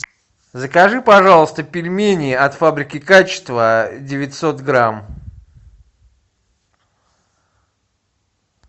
закажи пожалуйста пельмени от фабрики качество девятьсот грамм